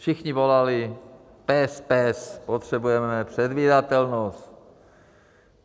Všichni volali PES, PES, potřebujeme předvídatelnost.